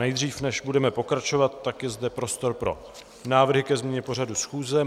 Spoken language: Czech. Nejdřív, než budeme pokračovat, tak je zde prostor pro návrhy ke změně pořadu schůze.